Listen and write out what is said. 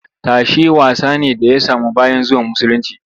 Tashe wasa ne da ya samu bayan zuwan musulunci